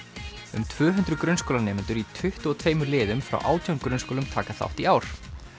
um tvö hundruð grunnskólanemendur í tuttugu og tveimur liðum frá átján grunnskólum taka þátt í ár